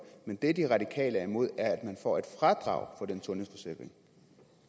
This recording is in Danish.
men det de radikale er imod er at man får et fradrag for den sundhedsforsikring